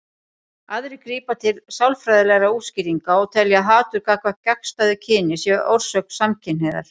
Aðrir grípa til sálfræðilegra útskýringa og telja að hatur gagnvart gagnstæðu kyni sé orsök samkynhneigðar.